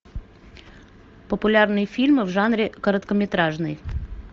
популярные фильмы в жанре короткометражный